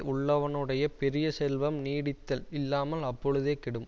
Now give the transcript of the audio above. உள்ளவனுடைய பெரிய செல்வம் நீடித்தல் இல்லாமல் அப்பொழுதே கெடும்